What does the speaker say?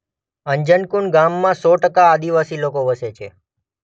અંજનકુંડ ગામમાં સો ટકા આદિવાસી લોકો વસે છે.